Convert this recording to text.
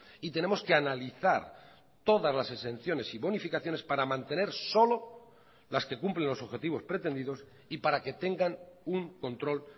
y tenemos que analizar todas las exenciones y bonificaciones para mantener solo las que cumplen los objetivos pretendidos y para que tengan un control